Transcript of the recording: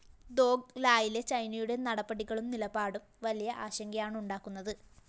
ദോക് ലായിലെ ചൈനയുടെ നടപടികളും നിലപാടും വലിയ ആശങ്കയാണുണ്ടാക്കുന്നത്